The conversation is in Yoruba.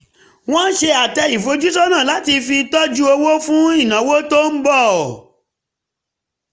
wọ́n ṣe àtẹ ìfojúsọ́nà láti fi tọ́jú owó fún ìnáwó tó ń bọ̀